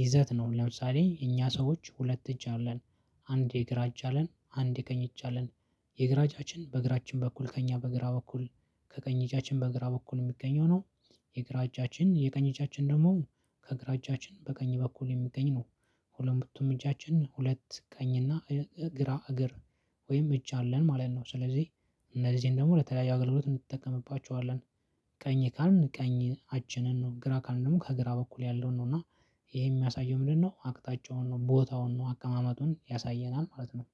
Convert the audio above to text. ይዘት ነው ለምሳሌ እኛ ሰዎች ሁለት እጅ አለን። አንድ የግራ እጅ አለን አንድ የቀኝ እጅ አለን። የግራ እጃችን በእግራችን በኩል ከእኛ በግራ በኩል ከቀኝ እጃችን በግራ በኩል የሚገኘው ነው። የግራ እጃችን የቀኝ እጃችን ደግሞ ከግራ እጃችን በቀኝ በኩል የሚገኝ ነው። ሁለቱም እጃችን ሁለት ቀኝና ግራ እግር ወይም እጅ አለን ማለት ነው። ስለዚህ እነዚህን ደግሞ ለተለያዩ አገልግሎት እንጠቀምባቸዋለን። ቀኝ ካልን ቀኝ አችንን ነው ግራ ካልን ደግሞ ከግራ በኩል ያለውን ነው እና ይሄ የሚያሳየው ምንድነው? አቅጣጫውን ነው ቦታውን ነው አቀማመጡን ያሳየናል ማለት ነው።